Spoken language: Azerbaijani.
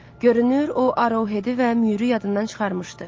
Görünür, o Arohedi və Mürü yadından çıxarmışdı.